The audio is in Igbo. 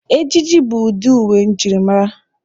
Ejiji bụ udi uwe njirimara.